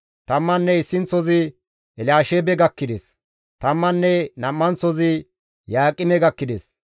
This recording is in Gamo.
Tamman issinththozi Elyaasheebe gakkides; tamman nam7anththozi Yaaqime gakkides;